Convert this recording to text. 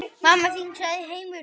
Þetta er lítill heimur.